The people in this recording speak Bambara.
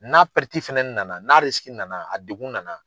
N'a fana nana? n'a nana, a degun nana.